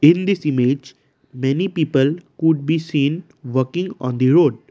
in this image many people could be seen working on the road.